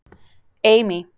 Amy